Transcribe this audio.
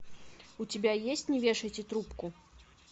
у тебя есть не вешайте трубку